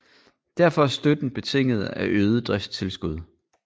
Derfor er støtten betinget af øget driftstilskud